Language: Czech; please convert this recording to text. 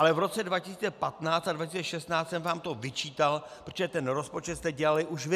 Ale v roce 2015 a 2016 jsem vám to vyčítal, protože ten rozpočet jste dělali už vy.